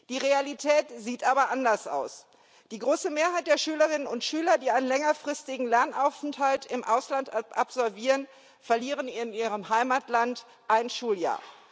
Die Realität sieht aber anders aus Die große Mehrheit der Schülerinnen und Schüler, die einen längerfristigen Lernaufenthalt im Ausland absolvieren, verlieren in ihrem Heimatland ein Schuljahr.